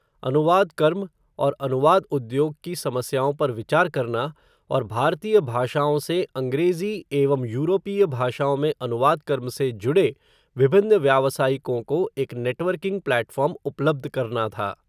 अनुवाद कर्म, और अनुवाद उद्योग की समस्याओं पर विचार करना, और भारतीय भाषाओं से, अंग्रेज़ी, एवं यूरोपीय भाषाओं में अनुवाद कर्म से जुड़े, विभिन्न व्यावसायिकों को, एक नेटवर्किंग प्लेटफ़ार्म उपलब्ध करना था